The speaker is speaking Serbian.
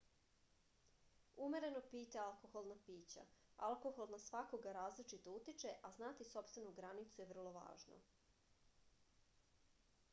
umereno pijte alkoholna pića alkohol na svakoga različito utiče a znati sopstvenu granicu je vrlo važno